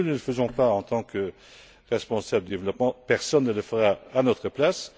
Si nous ne le faisons pas en tant que responsables du développement, personne ne le fera à notre place.